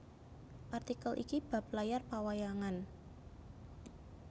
Artikel ini bab layar pawayangan